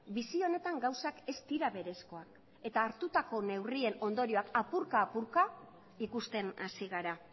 bizi honetan gauzak ez dira berezkoak eta hartutako neurrien ondorioak apurka apurka ikusten hasi gara